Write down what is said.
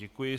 Děkuji.